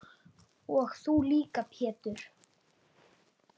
Og þú líka Pétur.